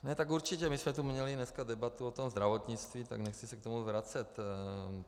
Ne, tak určitě, my jsme tu měli dneska debatu o tom zdravotnictví, tak nechci se k tomu vracet.